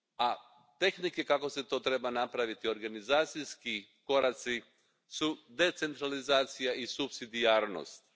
A tehnike kako se to treba napraviti organizacijski, koraci su decentralizacija i supsidijarnost.